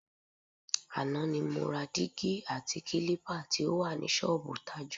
Àná ni mo ra dígí àti kílípà tí ó wà ní s̩ó̩ò̩bù Tájù.